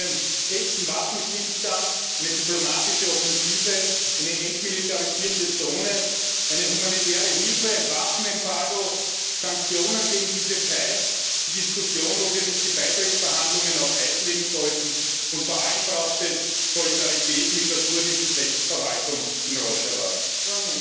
Es braucht einen echten Waffenstillstand, eine diplomatische Offensive, eine entmilitarisierte Zone, humanitäre Hilfe, ein Waffenembargo, Sanktionen gegen die Türkei, die Diskussion, ob wir nicht die Beitrittsverhandlungen auf Eis legen sollten, und vor allem braucht es Solidarität mit der kurdischen Selbstverwaltung in Rojava.